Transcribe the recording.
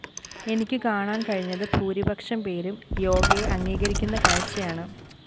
എനിക്കു കാണാന്‍ കഴിഞ്ഞത് ഭൂരിപക്ഷം പേരും യോഗയെ അംഗീകരിക്കുന്ന കാഴ്ചയാണ്